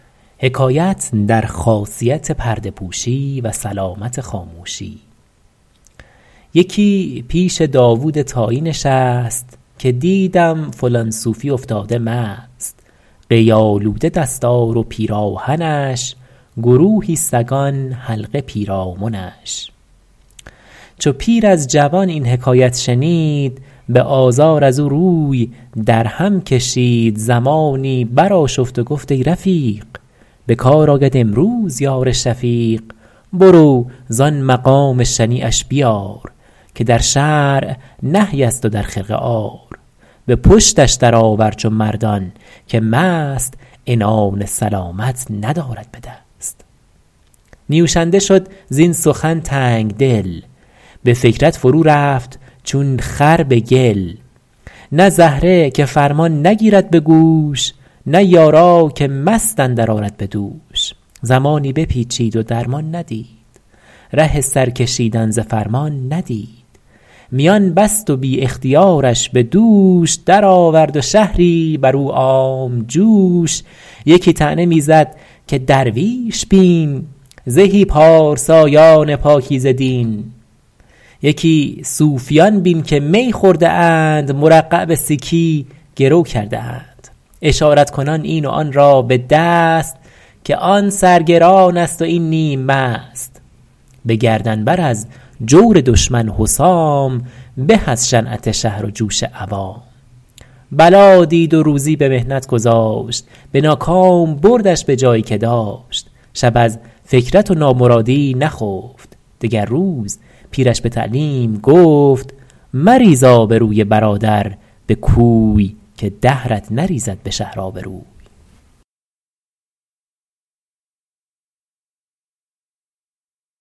یکی پیش داود طایی نشست که دیدم فلان صوفی افتاده مست قی آلوده دستار و پیراهنش گروهی سگان حلقه پیرامنش چو پیر از جوان این حکایت شنید به آزار از او روی در هم کشید زمانی بر آشفت و گفت ای رفیق به کار آید امروز یار شفیق برو زآن مقام شنیعش بیار که در شرع نهی است و در خرقه عار به پشتش در آور چو مردان که مست عنان سلامت ندارد به دست نیوشنده شد زین سخن تنگدل به فکرت فرو رفت چون خر به گل نه زهره که فرمان نگیرد به گوش نه یارا که مست اندر آرد به دوش زمانی بپیچید و درمان ندید ره سر کشیدن ز فرمان ندید میان بست و بی اختیارش به دوش در آورد و شهری بر او عام جوش یکی طعنه می زد که درویش بین زهی پارسایان پاکیزه دین یکی صوفیان بین که می خورده اند مرقع به سیکی گرو کرده اند اشارت کنان این و آن را به دست که آن سر گران است و این نیم مست به گردن بر از جور دشمن حسام به از شنعت شهر و جوش عوام بلا دید و روزی به محنت گذاشت به ناکام بردش به جایی که داشت شب از فکرت و نامرادی نخفت دگر روز پیرش به تعلیم گفت مریز آبروی برادر به کوی که دهرت نریزد به شهر آبروی